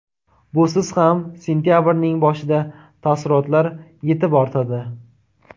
Busiz ham sentabrning boshida taassurotlar yetib ortadi.